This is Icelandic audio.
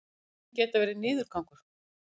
einkennin geta verið niðurgangur